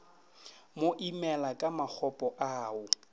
mo imela ka makgopo ao